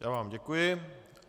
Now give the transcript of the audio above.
Já vám děkuji.